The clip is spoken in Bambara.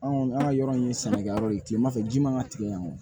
Anw kɔni an ka yɔrɔ in ye sɛnɛkɛyɔrɔ ye kilema fɛ ji ma ka tigɛ yan kɔni